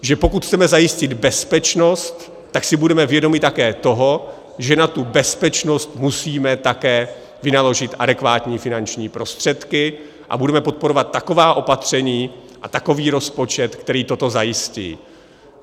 Že pokud chceme zajistit bezpečnost, tak si budeme vědomi také toho, že na tu bezpečnost musíme také vynaložit adekvátní finanční prostředky, a budeme podporovat taková opatření a takový rozpočet, který toto zajistí.